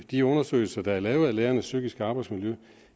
de undersøgelser der er lavet af lærernes psykiske arbejdsmiljø